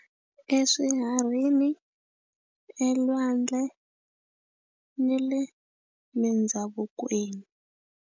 Eswiharhi, elwandle, ni le mindhavukweni.